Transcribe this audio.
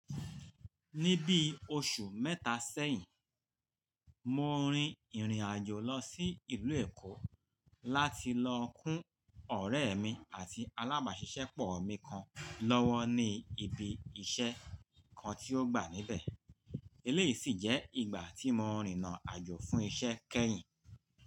Ní bí oṣù mẹ́ta sẹ́yìn, mo rin ìrìn-àjò lọ sí ìlú Èkó láti lọ kún ọ̀rẹ́ mi àti alábàáṣiṣẹ́pọ̀ mi kan lọ́wọ́ ní ibi iṣẹ́ kan tí ó gba níbẹ̀. Eléyìí sì jẹ́ ìgbà tí mo rìnna àjò fún iṣẹ́ kẹ́yìn.